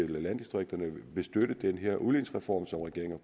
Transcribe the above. landdistrikterne vil støtte den her udligningsreform som regeringen